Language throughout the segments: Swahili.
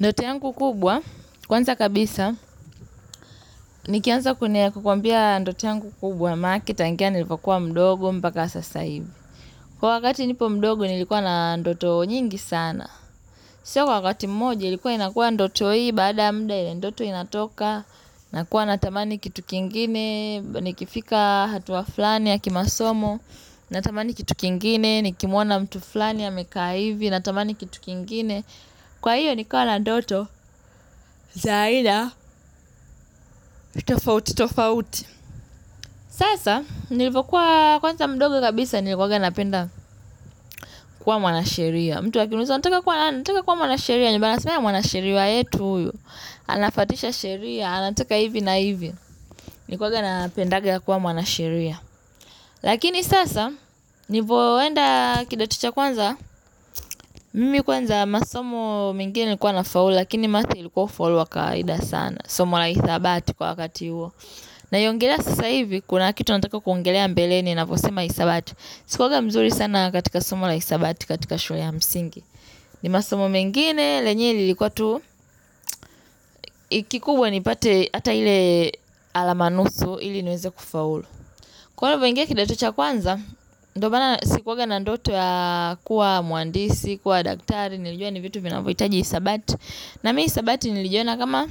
Ndoto yanku kubwa, kwanza kabisa, nikianza kukwambia ndoto yanku kubwa manake nilipokuwa mdogo mpaka sasa hivi. Kwa wakati nilipo mdogo nilikuwa na ndoto nyingi sana. Sio kwa wakati mmoja ilikuwa inakuwa ndoto hii, baada ya muda ile ndoto inatoka, nakuwa natamani kitu kingine, nikifika hatua fulani ya kimasomo, natamani kitu kingine, nikimuona mtu flani amekaa hivi, natamani kitu kingine. Kwa hiyo nilikuwa na doto, za aina, tofauti, tofauti Sasa, nilivokuwa kwanza mdogo kabisa nilikuwanga napenda kuwa mwanasheria mtu akiniuza unataka kuwa nani unataka kuwa mwanasheria ndipo wanasema mwanasheria wetu huyu anafatisha sheria, anataka hivi na hivi Nilikuwanga napendanga kuwa mwanasheria Lakini sasa, nilivoenda kidato cha kwanza Mimi kwanza masomo mengine ilikuwa nafaula Lakini maths hakuwa falua kaida sana Somo la hisabati kwa wakati huo Naiongelea sasa hivi kuna kitu Nataka kuongelelea mbeleni ninaposema hisabati Sikuwanga mzuri sana katika somo la hisabati katika shule ya msingi ni masomo mengine lenyewe lilikuwa tu kikubwa nipate Hata ile alama nusu ili niweze kufaulu Kwa hivyo nilivoingia kidato cha kwanza ndo maana sikuwanga na ndoto ya kuwa mwandisi, kuwa daktari Nilijua ni vitu vinavohitaji hisabati na mimi hisabati nilijiona kama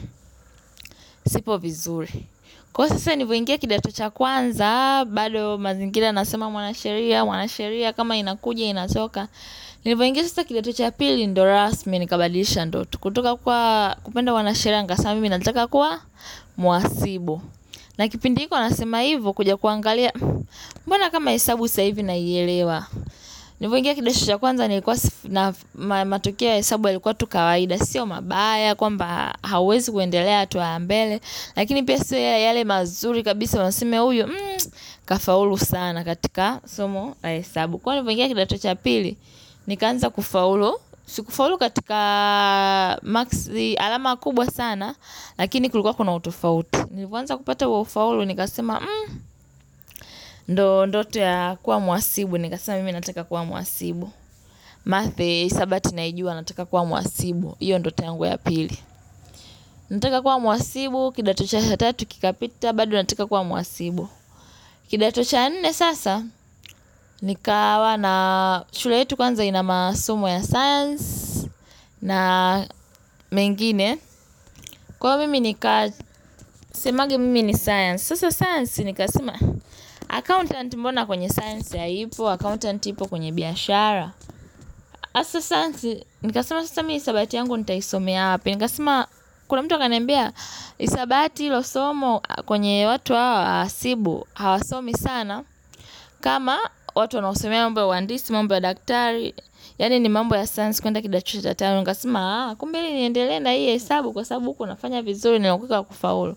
Sipo vizuri Kwa sasa nilivoingia kidato cha kwanza, bado mazingira nasema mwanasheria, mwanasheria kama inakuja inatoka. Nilivoingia sasa kidato cha pili, ndo rasmi nikabadisha ndoto. Kutoka kuwa kupenda wanasheria sasa mimi nataka kuwa muhasibu. Na kipindi iko nasema hivo kuja kuangalia. Mbona kama hesabu sasa hivi nielewa. Nilivoingia kidato cha kwanza nikuwa matokeo ya hesabu yalikuwa tu kawaida. Sio mabaya, kwamba hawezi kuendelea hatua ya mbele. Lakini pia sio yale mazuri kabisa waseme huyu Kafaulu sana katika somo la hebavu Kwa hivo nilipoingia kidato cha pili Nikaanza kufaulu si kufaulu katika alama kubwa sana Lakini kulikua kuna utofauti Nilipoanza kupata huo ufaulu nikasema ndo ndoto ya kuwa muhasibu Nikasema mimi nataka kuwa muhasibu Math hesabati naijua nataka kuwa muhasibu hiyo ndoto yangu ya pili Nataka kuwa muhasibu kidato cha tatu kikapita bado nataka kuwa muhasibu kidato cha nne sasa nikawa na shule yetu Kwanza ina masomo ya science na mengine Kwa hivyo mimi nikasemanga mimi ni science Sasa science nikasema Accountant mbona kwenye science haipo Accountant ipo kwenye biashara sasa science nikasema sasa mimi hesabati yangu nitaisomea Nikasema kula mtu akaniambia hesabati hilo somo kwenye watu wahasibu hawasomi sana kama watu wanaosomea mambo ya uwandisi, mambo ya daktari Yaani ni mambo ya science kwenda kidato cha tano nikasema kumbe niendelee na hii hesabu kwa sababu huku nafanya vizuri nauweza kufaulu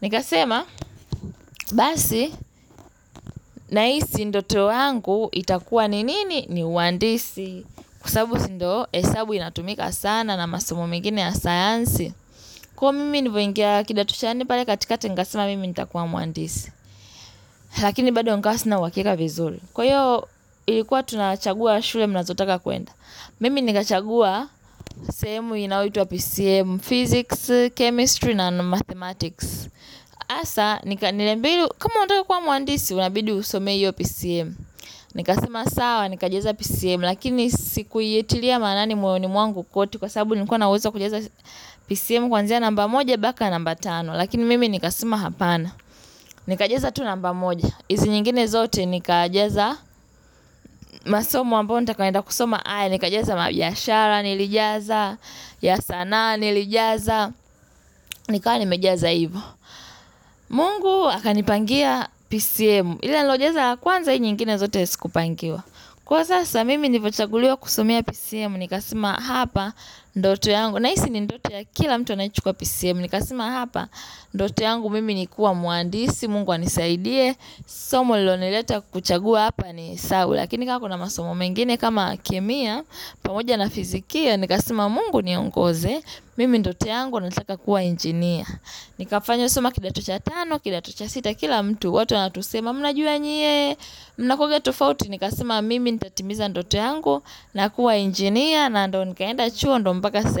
Nikasema basi na hii si ndoto yangu itakuwa ni nini ni uwandisi Kwa sababu si ndo hesabu inatumika sana na masomo mengine ya science Kwa hivyo mimi nilivoingia kidato cha nne pale katika nikasema mimi nitakuwa mwandisi Lakini bado nikawa sina uhakika vizuri Kwa hiyo ilikuwa tunachagua shule mnazotaka kwenda Mimi nikachagua sehemu inayoitwa PCM Physics, Chemistry, and Mathematics Hasaa, niliambiwa kama unataka kuwa mwandisi unabidi usomee hiyo PCM Nikasema sawa, nikajaza PCM Lakini sikuitilia manani moyoni mwangu kote Kwa sababu nilikuwa na uwezo wa kujaza PCM Kwanzia namba moja mpaka namba tano Lakini mimi nikasema hapana Nikajaza tu namba moja hizi zingine zote nikajaza masomo ambayo nitakayoenda kusoma nikajaza biashara nilijaza, ya sanaa, nilijaza, nikawa nimejaza hivo. Mungu akanipangia PCM, ile niliyojaza kwanza ile nyingine zote sikupangiwa. Kwa sasa mimi nilivochaguliwa kusomia PCM, nikasema hapa ndoto yangu. Nahisi ni ndoto ya kila mtu anayechukua PCM, nikasema hapa ndoto yangu mimi ni kuwa mwandisi, Mungu anisaidie. Somo lililonileta kuchagua hapa ni hesabu Lakini kama kuna masomo mengine kama kemia pamoja na fizikia Nikasema mungu niongoze Mimi ndoto yangu nanitaka kuwa engineer Nikasoma kidato cha tano kidato cha sita kila mtu watu wanatusema mnajua nyie minavyokuwa tofauti nikasema mimi Nitatimiza ndot yangu na kuwa engineer na ndo nikaenda chuo ndo mpaka sasa hivi.